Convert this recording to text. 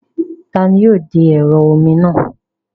Taani yóò de ẹ̀rọ omi náà?